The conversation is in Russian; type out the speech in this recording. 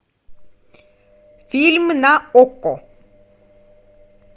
фильм на окко